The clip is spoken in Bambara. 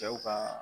Cɛw ka